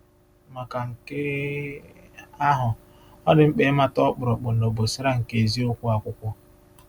Maka nke um ahụ, ọ dị mkpa ịmata “ọkpụrụkpụ na obosara” nke eziokwu Akwụkwọ.